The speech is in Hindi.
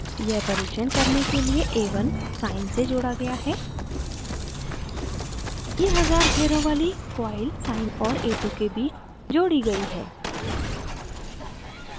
यह परिक्षण करने के लिए a1 sine से जोड़ा गया है